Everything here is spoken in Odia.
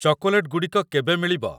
ଚକୋଲେଟ୍‌ ଗୁଡ଼ିକ କେବେ ମିଳିବ?